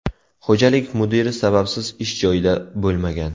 Xo‘jalik mudiri sababsiz ish joyida bo‘lmagan.